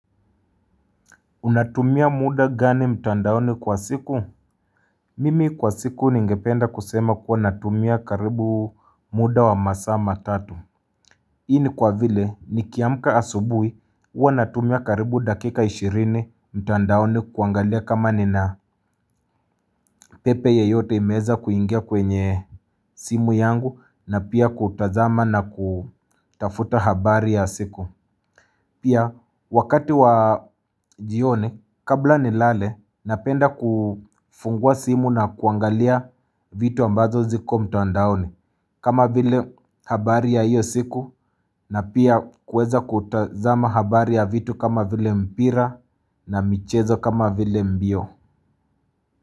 Unatumia muda gani mtandaoni kwa siku? Mimi kwa siku ningependa kusema kuwa natumia karibu muda wa masaa matatu Hii ni kwa vile nikiamka asubuhi huwa natumia karibu dakika ishirini mtandaoni kuangalia kama nina pepe yeyote imeweza kuingia kwenye simu yangu na pia kutazama na kutafuta habari ya siku Pia wakati wa jioni kabla nilale napenda kufungua simu na kuangalia vitu ambazo ziko mtandaoni kama vile habari ya hiyo siku na pia kuweza kutazama habari ya vitu kama vile mpira na michezo kama vile mbio.